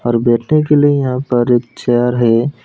और बैठने के लिए जहां पर एक चेयर है।